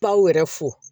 Baw yɛrɛ fo